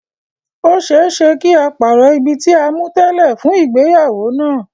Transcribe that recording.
Ó ṣeé ṣe kí á pàrọ̀ ibi tí a mú tẹ́lẹ̀ fún ìgbéyàwó náà.